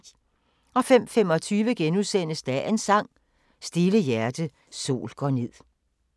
05:25: Dagens Sang: Stille hjerte, sol går ned *